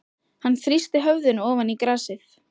Hann þrýsti höfðinu ofan í grasið.